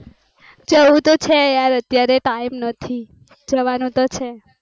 જવું તો છે યાર અત્યારે time નથી, જવાનું તો છેજ